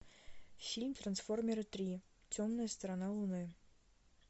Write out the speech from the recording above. фильм трансформеры три темная сторона луны